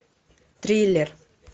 триллер